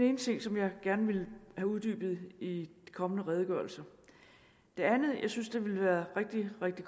ene ting som jeg gerne vil have uddybet i de kommende redegørelser det andet jeg synes ville være rigtig rigtig